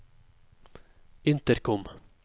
intercom